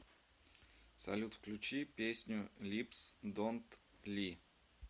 салют включи песню липс донт ли